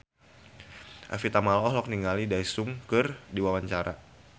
Evie Tamala olohok ningali Daesung keur diwawancara